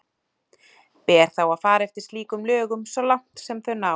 Ber þá að fara eftir slíkum lögum svo langt sem þau ná.